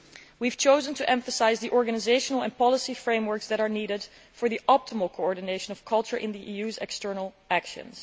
We have chosen to emphasise the organisational and policy frameworks that are needed for the optimal coordination of culture in the EU's external actions.